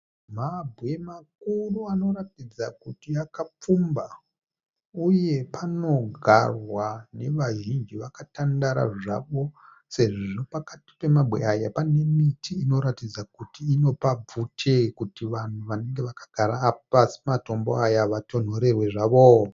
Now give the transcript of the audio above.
Mabwe makuru anoratidza kuti akapfumba uye panogarwa nevazhinji vakatandara zvavo sezvo pakati pemabwe aya pane miti inoratidza kuti inopa bvute kuti kuvanhu vanenge vakagara pasi pamatombo aya vatonhorerwe zvavo.